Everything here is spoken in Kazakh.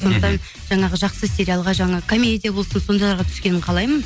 сондықтан жаңағы жақсы сериалға жаңа комедия болсын сондайларға түскенін қалаймын